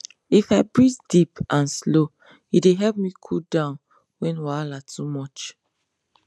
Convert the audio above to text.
if i breathe deep and slow e dey help me cool down when wahala too much